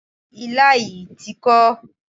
Ilá yìí ti kó.